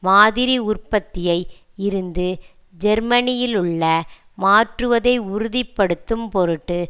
மாதிரி உற்பத்தியை இருந்து ஜேர்மனியிலுள் மாற்றுவதை உறுதி படுத்தும் பொருட்டு